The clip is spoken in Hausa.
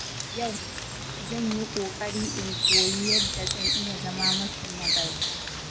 Yau, zan yi ƙoƙari in koyi yadda zan iya zama mafi nagarta.